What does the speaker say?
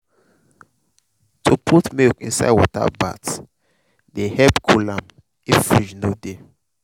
to put milk inside water bath dey help cool am if fridge no dey.